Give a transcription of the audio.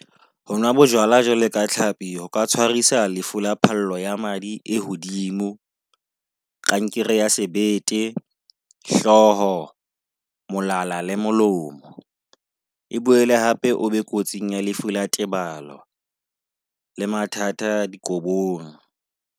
Hona bojwala jwalo ka tlhapi, ho ka tshwarisa lefu la phallo ya madi e hodimo, kankere ya sebete, hloho, molala le molomo. E boele hape o be kotsing ya lefu la tebalo le mathata dikolong.